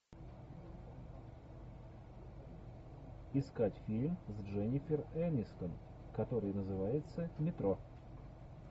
искать фильм с дженифер энистон который называется метро